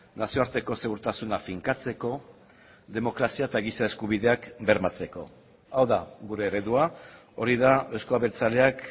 nazioarteko segurtasuna finkatzeko demokrazia eta giza eskubideak bermatzeko hau da gure eredua hori da euzko abertzaleak